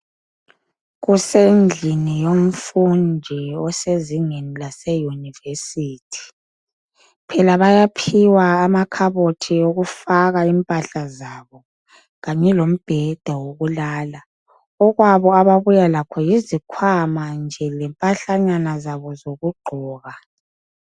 Kusendlini yomfundi osezingeni lase university phela bayaphiwa amakhabothi okufaka impahla zabo kanye lombheda wokulala okwabi ababuya lokho yisikhwama nje lempahlanyana zabo zokugqoka